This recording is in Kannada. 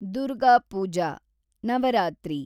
ದುರ್ಗಾ ಪೂಜಾ , ನವರಾತ್ರಿ